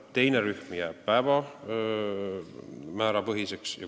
Teine rühm jääb päevamäärapõhiseks.